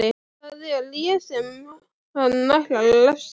Það er ég sem hann ætlar að refsa.